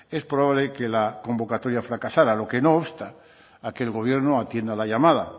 es probable que la convocatoria fracasara lo que no obsta a que el gobierno atienda la llamada